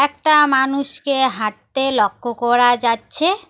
একটা মানুষকে হাঁটতে লক্ষ করা যাচ্ছে।